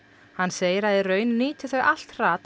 hann segir að í raun nýti þau allt hrat á